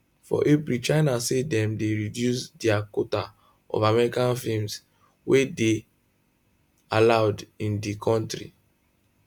for april china say dem dey reduce dia quota of american films wey dey allowed into di kontri